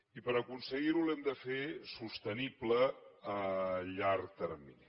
i per aconseguir ho l’hem de fer sostenible a llarg termini